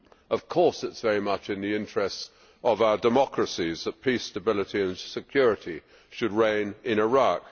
Of course it is very much in the interest of our democracies that peace, stability and security should reign in Iraq.